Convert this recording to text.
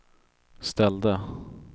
ställde